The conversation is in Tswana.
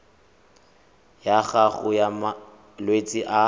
ya gago ya malwetse a